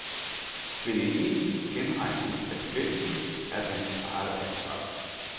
Men en egentlig genrejsning af bevægelsen er dens eget ansvar.